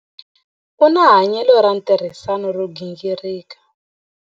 U na hanyelo ra ntirhisano ro gingirika.